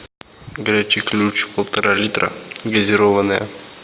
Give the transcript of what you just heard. горячий ключ полтора литра газированная